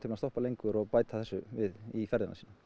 að stoppa lengur og bæta þessu við í ferðina sína